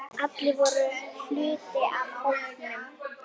Stína kallaði hana gjarnan Öddu.